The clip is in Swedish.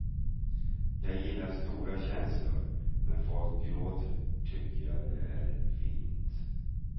Jag gillar stora känslor, när folk gråter tycker jag det är fint.